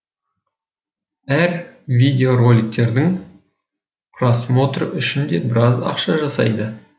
әр видео роликтердің просмотры үшін де біраз ақша жасайды